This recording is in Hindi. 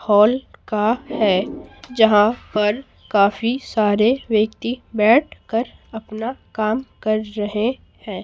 हॉल का है जहां पर काफी सारे व्यक्ति बैठकर अपना काम कर रहे हैं।